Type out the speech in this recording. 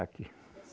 Aqui.